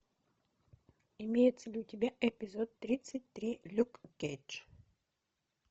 имеется ли у тебя эпизод тридцать три люк кейдж